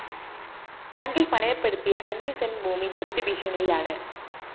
ബാങ്കില്‍ പണയപ്പെടുത്തിയ അഞ്ച് സെന്റ് ഭൂമി ജപ്തി ഭീഷണിയിലാണ്